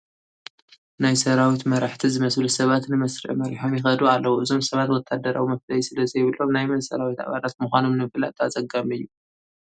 ናይ ሰራዊት መራሕቲ ዝመስሉ ሰባት ንመስርዕ መሪሖም ይኸዱ ኣለዉ፡፡ እዞም ሰባት ወታደራዊ መፍለዪ ስለዘይብሎም ናይ መን ሰራዊት ኣባላት ምዃኖም ንምፍላጥ ኣፀጋሚ እዩ፡፡